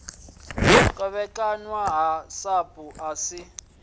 kovhekanywa ha sapu asi ya